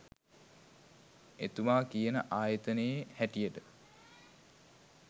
එතුමා කියන ආයතනයේ හැටියට